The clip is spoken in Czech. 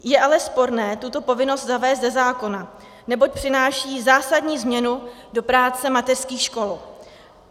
Je ale sporné tuto povinnost zavést ze zákona, neboť přináší zásadní změnu do práce mateřských škol.